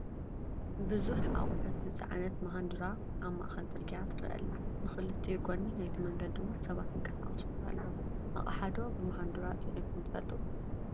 ብዙሕ ኣቑሑት ዝፀዓነት ማሃንዱራ ኣብ ማእኸል ፅርግያ ትረአ ኣላ፡፡ ብክልቲኡ ጎኒ ናይቲ መንገዲ ውን ሰባት ይንቀሳቐሱ ኣለው፡፡ ኣቕሓ ዶ ብማሃንዱራ ፂዒንኩም ትፈልጡ?